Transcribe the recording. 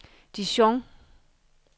Dijon